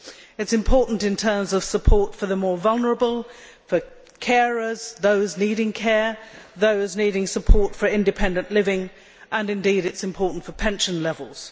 It is important in terms of support for the more vulnerable, for carers, those needing care, those needing support for independent living, and indeed it is important for pension levels.